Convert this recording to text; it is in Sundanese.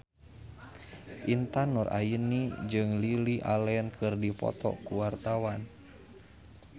Intan Nuraini jeung Lily Allen keur dipoto ku wartawan